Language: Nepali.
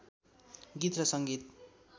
गीत र सङ्गीत